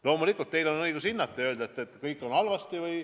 Loomulikult, teil on õigus hinnata ja öelda, et kõik on halvasti.